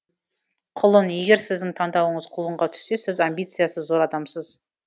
құлын егер сіздің таңдауыңыз құлынға түссе сіз амбициасы зор адамсыз